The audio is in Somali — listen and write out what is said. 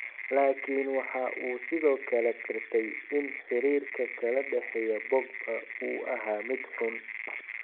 Laakin waxa uu sidoo kale qirtay in xiriirka kala dhexeeya Pogba uu ahaa mid xun.